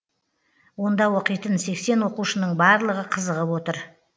онда оқитын сексен оқушының барлығы қызығып отыр